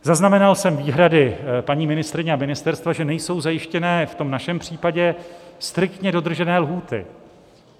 Zaznamenal jsem výhrady paní ministryně a ministerstva, že nejsou zajištěny v tom našem případě striktně dodržené lhůty.